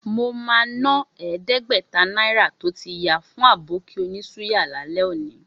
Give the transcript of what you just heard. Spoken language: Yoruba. Mo máa ná ẹ̀ẹ́dẹ́gbẹ̀ta náírà tó ti ya fún Àbókí onísúyà lálẹ́ òní.